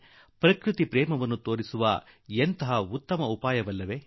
ನೋಡಿ ಪ್ರಕೃತಿ ಪ್ರೇಮ ಅದೆಷ್ಟು ಉತ್ತಮ ರೀತಿಯಲ್ಲಿ ಪ್ರಕಟಗೊಂಡಿದೆ